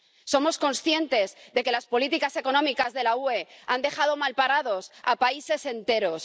Somos conscientes de que las políticas económicas de la UE han dejado malparados a países enteros.